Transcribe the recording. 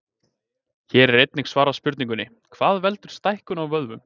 Hér er einnig svarað spurningunni: Hvað veldur stækkun á vöðvum?